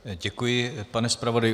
Děkuji, pane zpravodaji.